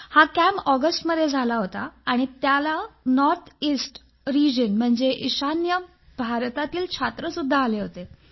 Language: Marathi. हा कॅम्प ऑगस्टमध्ये झाला होता आणि त्याला नॉर्थ इस्ट रिजन म्हणजेच ईशान्य प्रदेशातील छात्रपण आले होते